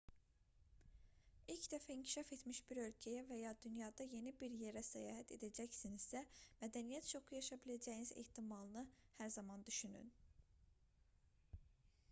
i̇lk dəfə inkişaf etmiş bir ölkəyə və ya dünyada yeni bir yerə səyahət edəcəksinizsə mədəniyyət şoku yaşaya biləcəyiniz ehtimalını hər zaman düşünün